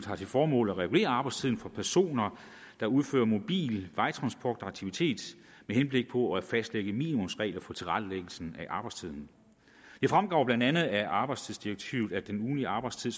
har til formål at regulere arbejdstiden for personer der udfører mobil vejtransportaktivitet med henblik på at fastlægge minimumsregler for tilrettelæggelsen af arbejdstiden det fremgår blandt andet af arbejdstidsdirektivet at den ugentlige arbejdstid